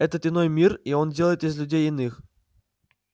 это иной мир и он делает из людей иных